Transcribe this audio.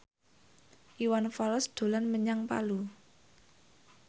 Iwan Fals dolan menyang Palu